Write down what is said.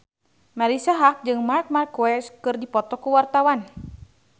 Marisa Haque jeung Marc Marquez keur dipoto ku wartawan